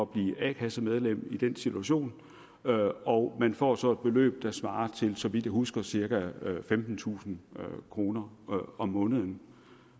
blive a kassemedlem i den situation og man får så et beløb der svarer til så vidt jeg husker cirka femtentusind kroner om måneden